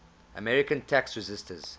american tax resisters